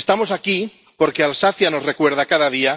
Estamos aquí porque Alsacia nos recuerda cada día